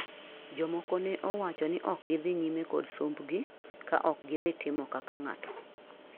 jomko ne owacho ni ok gidhi nyime kod somb gi ka ok gidhi timo kaka ng'ato